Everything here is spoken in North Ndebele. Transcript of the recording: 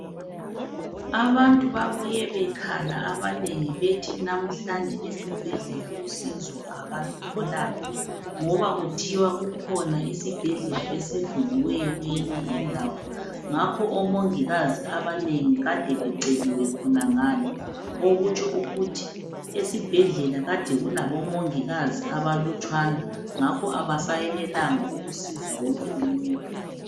Abantu babuye bekhala ababengi bethi namuhlanje esibhedlela usizo abalutholanga ngoba kuthiwa kukhona isibhedlela esivuliweyo kweyinye indawo. Ngakho omongikazi abanengi kade beceliwe khonangale. Okutsho ukuthi esibhedlela kade kulabomongikazi abalutshwana ngakho abesayenelanga ukusiza wonke umuntu.